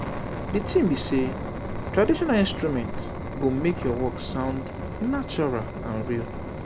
the thing be say traditional instrument go make your work sound natural and real